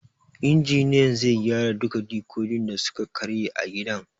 Injiniyan zai gyara duka dikodin da suka karye a gidan